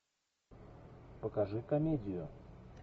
покажи комедию